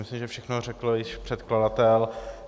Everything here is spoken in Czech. Myslím, že všechno řekl již předkladatel.